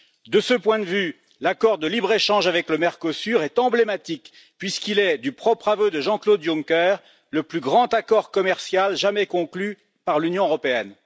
De ce point de vue, l'accord de libre échange avec le Mercosur est emblématique puisqu'il est, du propre aveu de Jean Claude Juncker, le plus grand accord commercial jamais conclu par l'Union européenne.